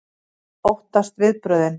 Hún óttast viðbrögðin.